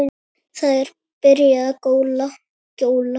Það er byrjað að gjóla.